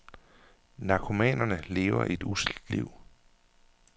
Narkomanerne lever et usselt liv.